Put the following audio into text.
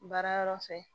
Baara yɔrɔ fɛ